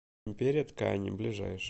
империя ткани ближайший